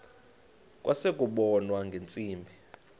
kwase kubonwa ngeentsimbi